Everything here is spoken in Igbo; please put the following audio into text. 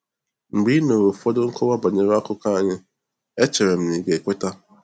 Mgbe ị nụrụ ụfọdụ nkọwa banyere akụkọ anyị, echere m na ị ga-ekweta.